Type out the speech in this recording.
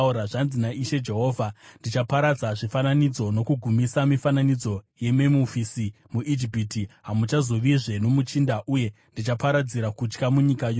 “ ‘Zvanzi naIshe Jehovha: “ ‘Ndichaparadza zvifananidzo uye ndichagumisa mifananidzo yeMemufisi. MuIjipiti hamuchazovizve nomuchinda, uye ndichaparadzira kutya munyika yose.